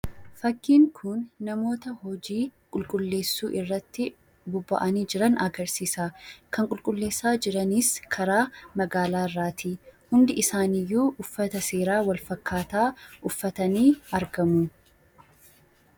Fakkiin kun namoota hojii qulqullinaa irratti bobba'anii jiran agarsiisa. Kan qulqulleessaa jiran karaa magaalaa irraa hundi isaaniiyyuu uffata seeraa wal fakkaataa uffatanii argamu.